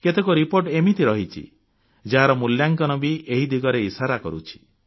କେତେକ ରିପୋର୍ଟ ଏମିତି ରହିଛି ଯାହାର ମୂଲ୍ୟାଙ୍କନ ବି ଏହି ଦିଗରେ ଇଶାରା କରୁଛି